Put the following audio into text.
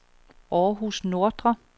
Århus Nordre